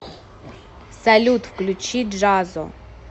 салют включи джазо